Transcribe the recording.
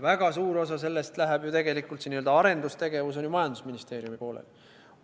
Väga suur osa sellest läheb ju tegelikult, see n-ö arendustegevuse raha, Majandus- ja Kommunikatsiooniministeeriumi poolele.